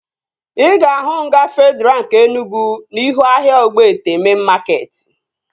Ị ga-ahụ nga Fedraa nke Enugwu n'ihu ahịa Ogbete mein makeetị